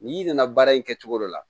N'i nana baara in kɛ cogo dɔ la